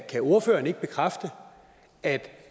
kan ordføreren ikke bekræfte at